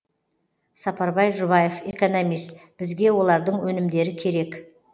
сапарбай жұбаев экономист бізге олардың өнімдері керек